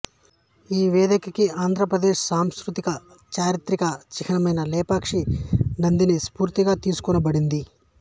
ఈ వేదికకి ఆంధ్రప్రదేశ్ సాంస్కృతిక చారిత్రక చిహ్నమైన లేపాక్షి నందిని స్ఫూర్తిగా తీసుకొనబడింది